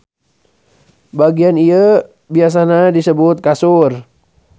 Bagian ieu biasana disebut kasur.